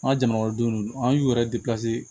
An ka jamana kɔnɔdenw an y'u yɛrɛ